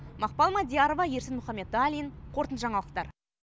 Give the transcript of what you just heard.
мақпал мадиярова ерсін мұхамбеталин қорытынды жаңалықтар